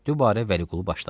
Dübarə Vəliqulu başladı.